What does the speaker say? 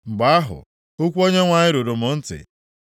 Mgbe ahụ okwu Onyenwe anyị ruru m ntị,